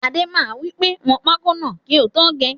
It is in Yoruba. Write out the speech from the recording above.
Adé máa wípé 'wọn pákó náà kì o tó gé'